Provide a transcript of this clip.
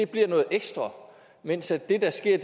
bliver noget ekstra mens det der sker